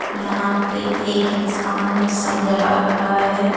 यहां पे एक इंसान समझा रहा है.